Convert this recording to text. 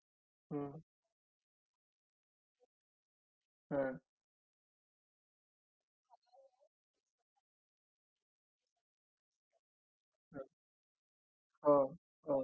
तर हा जो तुमचा आहे l m tripal door fridge तर हा आहे तीस हजाराचा म्हणजे एकोणतीस हजारपाशे अठ्ठावीस बरोबर याची किंमत म्हणजे around